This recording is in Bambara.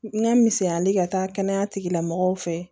N ka misaliyali ka taa kɛnɛya tigilamɔgɔw fɛ